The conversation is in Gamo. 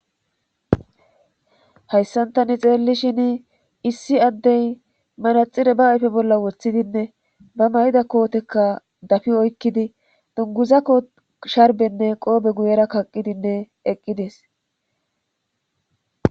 hayssantani xeellishin issi addey manaxire ba ayfe bolla woththidinne ba may7da kootekka dafi oykkidi dunguzakko sharbenne qoobe guyera kaqqidinne eqqides